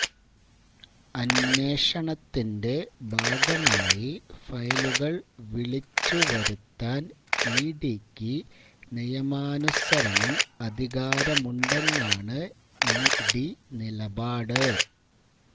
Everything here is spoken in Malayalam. അന്വേഷണത്തിന്റെ ഭാഗമായി ഫയലുകൾ വിളിച്ചു വരുത്താൻ ഇ ഡിക്ക് നിയമാനുസരണം അധികാരമുണ്ടെന്നാണ് ഇഡി നിലപാട്